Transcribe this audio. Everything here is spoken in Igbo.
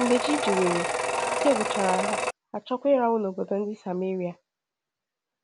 Mgbe chi jiwere, ike gwụchara ha, ha achọọkwa ịrahụ n’obodo ndị Sameria.